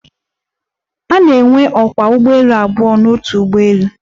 A na-enwe ókwá ụgbọelu abụọ n'otu ụgbọelu.